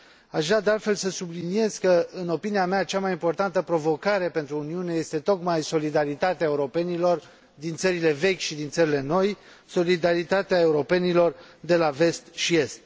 Aș vrea să subliniez că, în opinia mea, cea mai importantă provocare pentru Uniune este tocmai solidaritatea europenilor din țările vechi și din țările noi, solidaritatea europenilor de la Vest și Est.